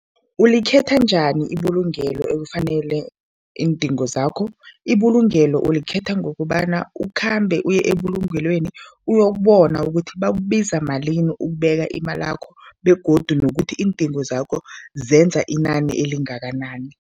Ulikhetha njani ibulungelo elifanele iindingo zakho? Ibulungelo ulikhetha ngokobana ukhambe uye ebulungelweni uyokubona ukuthi bakubiza malini ukubeka imalakho begodu nokuthi iindingo zakho zenza inani elingakanani.